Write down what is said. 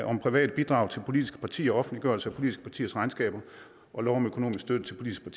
om private bidrag til politiske partier offentliggørelse af politiske partiers regnskaber og lov om økonomisk støtte til politiske